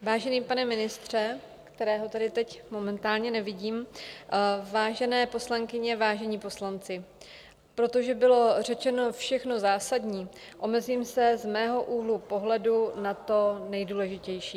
Vážený pane ministře, kterého tady teď momentálně nevidím, vážené poslankyně, vážení poslanci, protože bylo řečeno všechno zásadní, omezím se z mého úhlu pohledu na to nejdůležitější.